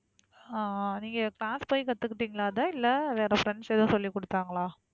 ஆஹ் நீங்க class போய் கத்துக்கிட்டீங்களா அதை இல்ல வேற friends எதும் சொல்லிக்குடுத்தாங்களா?